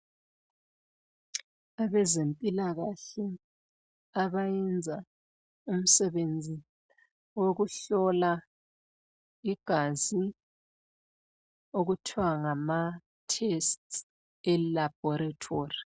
Abezempilakahle abayenza umsebenzi wokuhlola igazi okuthiwa ngamathesti elabholithori.